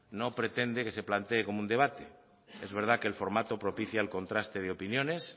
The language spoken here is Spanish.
no pretende que se planteé como un debate es verdad que el formato propicia el contraste de opiniones